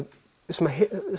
sem